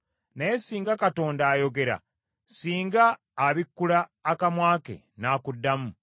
Naye, singa Katonda ayogera, singa abikkula akamwa ke n’akuddamu,